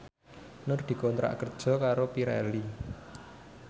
Nur dikontrak kerja karo Pirelli